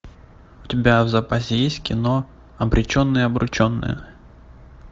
у тебя в запасе есть кино обреченные обрученные